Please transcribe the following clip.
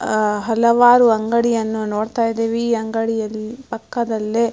ಅ ಹಲವಾರು ಅಂಗಡಿಯನ್ನ ನೋಡತ್ತಾ ಇದೀವಿ ಈ ಅಂಗಡಿಯ ಪಕ್ಕದಲ್ಲೆ --